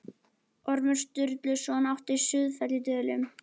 Ormur Sturluson átti Sauðafell í Dölum.